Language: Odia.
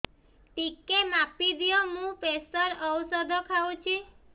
ଟିକେ ମାପିଦିଅ ମୁଁ ପ୍ରେସର ଔଷଧ ଖାଉଚି